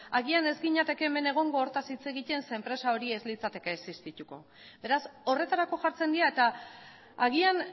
agian ez ginateke hemen egongo hortaz hitz egiten zeren enpresa hori ez litzateke existituko beraz horretarako jartzen dira eta agian